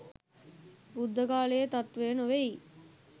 බුද්ධ කාලයේ තත්ත්වය නොවෙයි